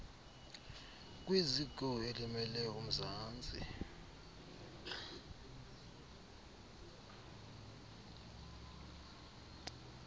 kwiziko elimele umzantsi